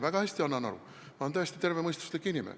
Väga hästi annan aru, ma olen täiesti tervemõistuslik inimene.